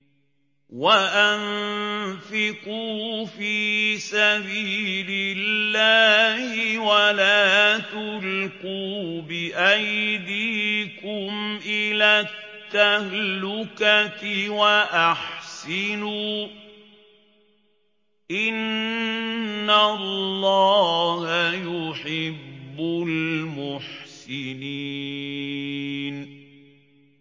وَأَنفِقُوا فِي سَبِيلِ اللَّهِ وَلَا تُلْقُوا بِأَيْدِيكُمْ إِلَى التَّهْلُكَةِ ۛ وَأَحْسِنُوا ۛ إِنَّ اللَّهَ يُحِبُّ الْمُحْسِنِينَ